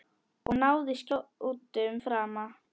Og náði skjótum frama.